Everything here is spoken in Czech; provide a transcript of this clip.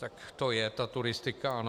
Tak to je ta turistika, ano.